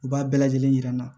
U b'a bɛɛ lajɛlen yira n na